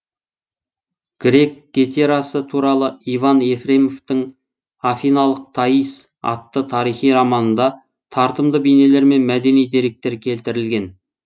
грек гетерасы туралы иван ефремовтың афиналық таис атты тарихи романында тартымды бейнелер мен мәдени деректер келтірілген